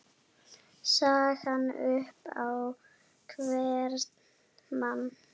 sagan upp á hvern mann